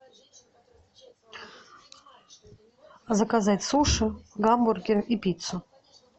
заказать суши гамбургер и пиццу